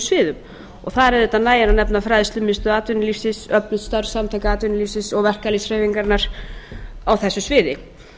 sviðum og þar auðvitað nægir að nefna fræðslumiðstöð atvinnulífsins öflugt starf samtaka atvinnulífsins og verkalýðshreyfingarinnar á þessu sviði